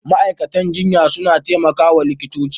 Ma'aikatan jinya suna taimaka wa likitoci.